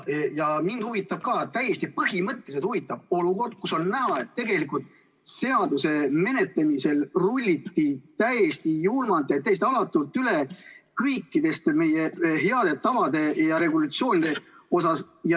Ka mind huvitab, täiesti põhimõtteliselt huvitab olukord, kus on näha, et tegelikult on seaduse menetlemisel rullitud täiesti julmalt ja täiesti alatult üle kõikidest meie headest tavadest ja regulatsioonidest.